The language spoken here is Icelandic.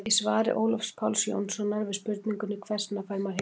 í svari ólafs páls jónssonar við spurningunni hvers vegna fær maður hiksta